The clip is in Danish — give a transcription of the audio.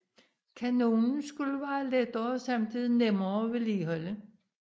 Kanonen skulle være lettere og samtidig nemmere at vedligeholde